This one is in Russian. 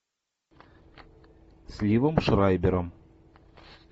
с ливом шрайбером